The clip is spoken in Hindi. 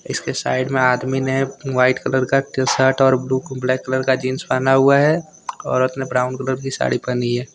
इसके साइड में आदमी ने व्हाइट कलर का टी_शर्ट और ब्लू को ब्लैक कलर का जींस पहना हुआ है औरत ने ब्राउन कलर की साड़ी पहनी है।